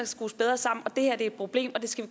skrues bedre sammen og det her er et problem det skal